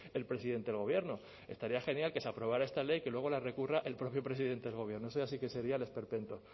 el presidente del gobierno estaría genial que se aprobara esta ley que luego la recurra el propio presidente del gobierno eso ya sí que sería el esperpento